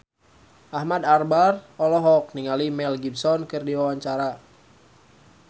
Ahmad Albar olohok ningali Mel Gibson keur diwawancara